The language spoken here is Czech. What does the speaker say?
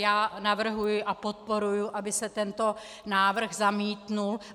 Já navrhuji a podporuji, aby se tento návrh zamítl.